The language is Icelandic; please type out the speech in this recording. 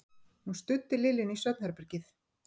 Hún studdi Lillu inn í svefnherbergið.